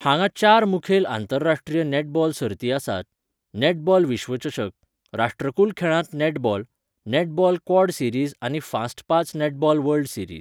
हांगा चार मुखेल आंतरराश्ट्रीय नेटबॉल सर्ती आसात, नॅटबॉल विश्वचषक, राष्ट्रकूल खेळांत नॅटबॉल, नॅटबॉल क्वाड सिरिज आनी फास्ट पांच नॅटबॉल वर्ल्ड सिरीज.